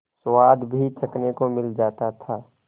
स्वाद भी चखने को मिल जाता था